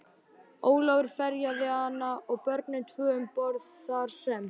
Ólafur ferjaði hana og börnin tvö um borð, þar sem